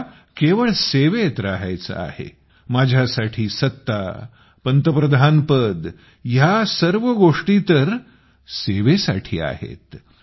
मला केवळ सेवेत रहायचे आहे माझ्या साठी हे पद हे पंतप्रधान या सर्व गोष्टी सत्तेसाठी नाहीत तर सेवेसाठी आहेत